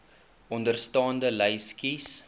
onderstaande lys kies